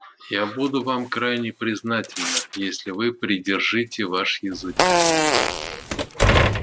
я буду вам крайне признательна если вы придержите ваш язык